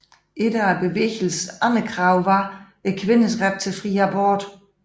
Et af bevægelsens andre krav var kvinders ret til fri abort